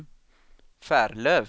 Färlöv